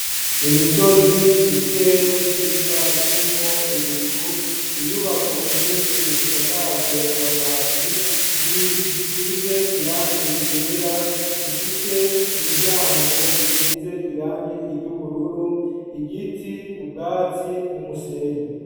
imisozi ,ikirere ciza kirimwo ibicu, inyubako nyinshi zisakajwe amabati, zibiri zisize irangi igera zifise imiryango isize irangi iry'ubururu, igiti, ubwatsi n'umusenyi.